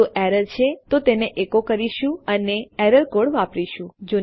જો એરર છે તો તેને એકો કરીશું અને એરર કોડ વાપરીશું